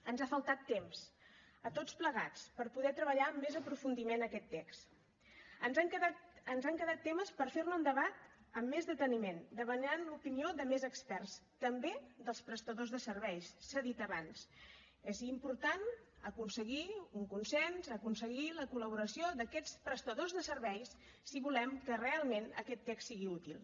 ens ha faltat temps a tots plegats per poder treballar amb més aprofundiment aquest text ens han quedat temes per fer ne un debat amb més deteniment demanant l’opinió de més experts també dels prestadors de serveis s’ha dit abans és important aconseguir un consens aconseguir la col·laboració d’aquests prestadors de serveis si volem que realment aquest text sigui útil